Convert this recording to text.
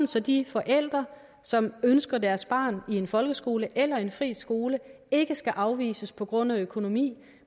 så de forældre som ønsker deres barn i en folkeskole eller i en fri skole ikke skal afvises på grund af økonomi